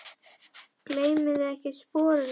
Gleymduð þið ekkert sporunum?